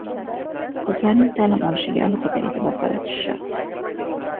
Qizlarning ta’lim olishiga alohida e’tibor qaratish shart.